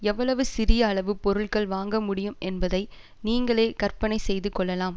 எவ்வளவு சிறிய அளவு பொருட்கள் வாங்கமுடியும் என்பதை நீங்களே கற்பனை செய்து கொள்ளலாம்